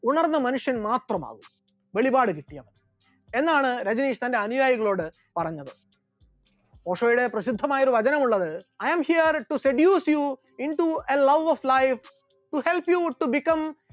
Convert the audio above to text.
ഉണർന്ന മനുഷ്യൻ മാത്രമാകും, വെളിപാട് കിട്ടിയാൽ മാത്രം മതി, എന്നാണ് രജനീഷ് തന്റെ അനുയായികളോട് പറഞ്ഞത്, ഓഷോയുടെ പ്രസിദ്ധമായ ഒരു വചനമുള്ളത് I am here to seduce you into a love of life to help become